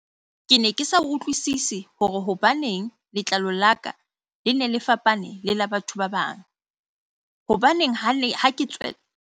"Ke ne ke sa utlwisise hore hobaneng letlalo la ka Ie ne le fapane le la batho ba bang, hobaneng ha ke tswela ka ntle batho ba mpitsa ka mabitsobitso le ho ntjheba jwalo ka haeka ke mokgelo."